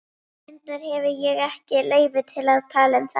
Reyndar hefi ég ekki leyfi til að tala um þetta.